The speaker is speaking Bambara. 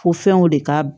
Fo fɛnw de ka